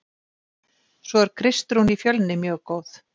Svo er Kristrún í Fjölni mjög góð.